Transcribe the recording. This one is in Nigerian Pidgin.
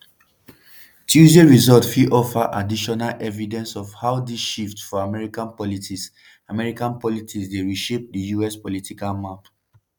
tuesday results fit offer additional evidence of how dis shifts for american politics american politics dey reshape di us political map.